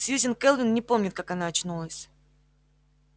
сьюзен кэлвин не помнит как она очнулась